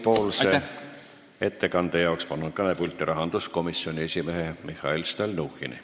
Komisjoni ettekandeks palun kõnepulti rahanduskomisjoni esimehe Mihhail Stalnuhhini.